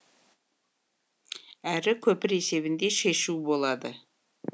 әрі көпір есебінде шешу болады